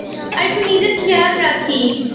আর একটু নিজের খেয়াল রাখিস।